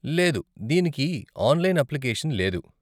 లేదు, దీనికి online application లేదు.